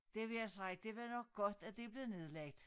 Det vil jeg sige det var nok godt at det blev nedlagt